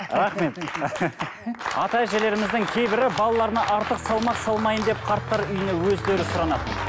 рахмет ата әжелеріміздің кейбірі балаларына артық салмақ салмайын деп қарттар үйіне өздері сұранады